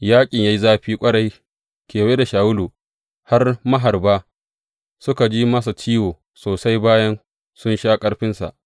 Yaƙin ya yi zafi ƙwarai kewaye da Shawulu, har maharba suka ji masa ciwo sosai bayan sun sha ƙarfinsa.